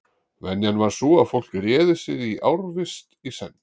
Venjan var sú að fólk réði sig í ársvist í senn.